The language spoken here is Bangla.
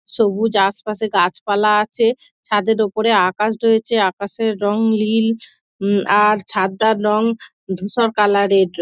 সবুজ আশপাশে গাছপালা আছে ছাদের ওপরে আকাশ রয়েছে আকাশের রং নীল আর ছাদটার রং ধূসর কালারের --